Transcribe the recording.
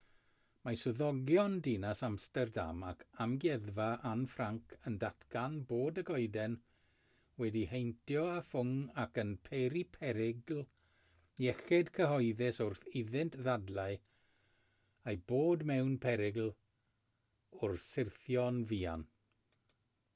mae swyddogion dinas amsterdam ac amgueddfa anne frank yn datgan bod y goeden wedi'i heintio â ffwng ac yn peri perygl iechyd cyhoeddus wrth iddynt ddadlau ei bod mewn perygl o syrthio'n fuan